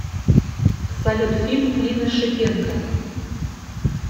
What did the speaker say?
салют фильм клина шипенко